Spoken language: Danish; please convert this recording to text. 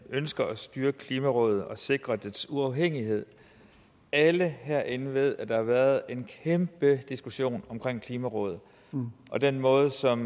ønsker at styrke klimarådet og sikre dets uafhængighed alle herinde ved at der har været en kæmpe diskussion om klimarådet og den måde som